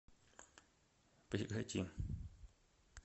прекрати